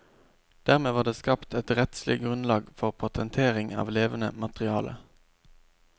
Dermed var det skapt et rettslig grunnlag for patentering av levende materiale.